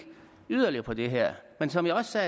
yderligere på det her men som jeg også